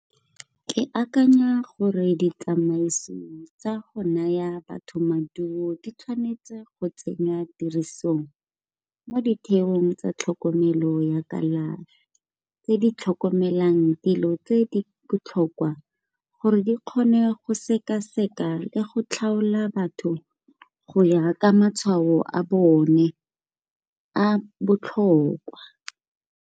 Ke akanya gore ditsamaiso tsa go naya batho maduo di tshwanetse go tsenya tirisong mo ditheong tsa tlhokomelo ya kalafi, tsona tse di tlhokomelang dilo tse di botlhokwa gore di kgone go sekaseka le go tlhaola batho go ya ka matshwao a bone a botlhokwa.